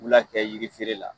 U kɛ yiri feere la.